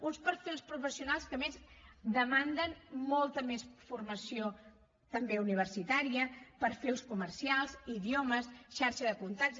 uns perfils professionals que a més demanden molta més formació també universitària perfils comercials idiomes xarxa de contactes